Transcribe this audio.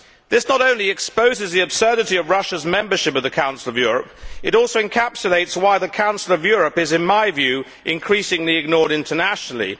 This not only exposes the absurdity of Russia's membership of the Council of Europe, but also encapsulates why the Council of Europe is, in my view, increasingly ignored internationally.